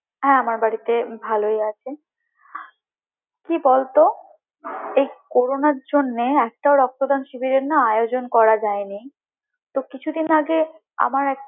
হ্যাঁ আমার বাড়িতে ভালোই আছে কি বলতো এই করোনার জন্যে একটাও রক্তদান শিবিরের না আয়োজন করা যায়নি তো কিছুদিন আগে আমার একটা